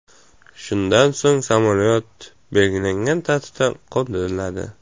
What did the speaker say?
Shundan so‘ng samolyot belgilangan tartibda qo‘ndiriladi.